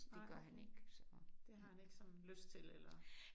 Nej. Det har han ikke sådan lyst til eller